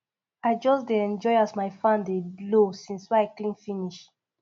i just dey enjoy as my fan dey blow since wey i clean finish